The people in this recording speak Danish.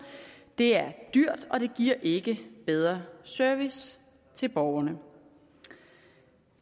det er dyrt og det giver ikke en bedre service til borgerne